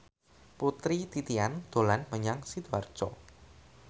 Putri Titian dolan menyang Sidoarjo